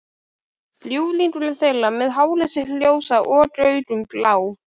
Ljúflingurinn þeirra með hárið sitt ljósa og augun blá.